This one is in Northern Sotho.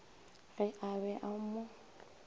ge a be a mo